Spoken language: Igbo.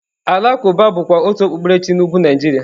Alakwuba bụkwa otu okpukpere chi na Ugwu Naijiria.